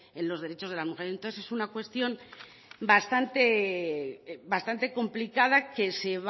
en los derechos de la mujer entonces es una cuestión bastante complicada que